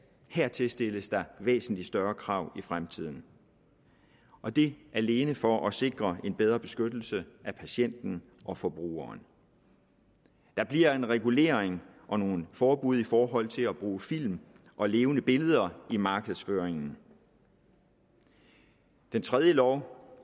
hertil stilles der væsentlig større krav i fremtiden og det alene for at sikre en bedre beskyttelse af patienten og forbrugeren der bliver en regulering og nogle forbud i forhold til at bruge film og levende billeder i markedsføringen i den tredje lov